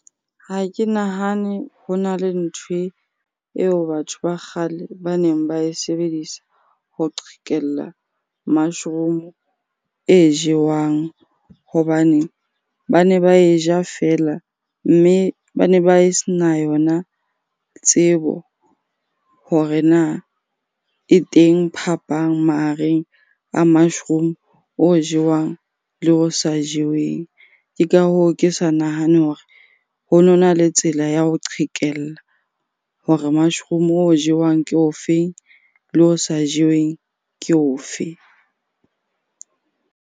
Ha ke nahane ho na le nthwe eo batho ba kgale ba neng ba e sebedisa ho qhekella mushroom-o e jewang. Hobane ba ne ba e ja feela mme ba ne ba sena tsebo hore na e teng phapang mahareng a mushroom o jewang le o sa jeweng. Ke ka hoo, ke sa nahane hore ho nona le tsela ya ho qhekella hore mushroom o jewang ke ofe? Le o sa jeweng ke ofe?